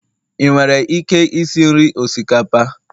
ị nwere ike isi nri osikapa?